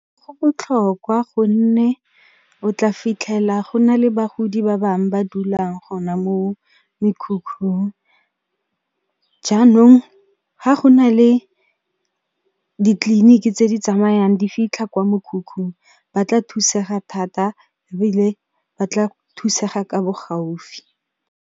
Go botlhokwa gonne o tla fitlhela go na le bagodi ba bang ba dulang gona moo mekhukhung, jaanong ga go na le ditleliniki tse di tsamayang di fitlha kwa mekhukhung ba tla thusega thata ebile ba tla thusega ka bo gaufi.